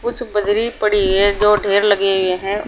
कुछ बजरी पड़ी है जो ढेर लगी हुई है और--